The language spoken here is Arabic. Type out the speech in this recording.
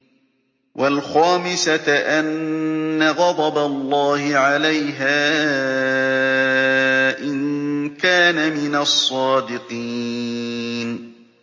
وَالْخَامِسَةَ أَنَّ غَضَبَ اللَّهِ عَلَيْهَا إِن كَانَ مِنَ الصَّادِقِينَ